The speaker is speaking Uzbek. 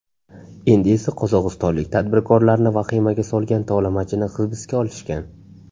Endi esa qozog‘istonlik tadbirkorlarni vahimaga solgan tovlamachini hibsga olishgan.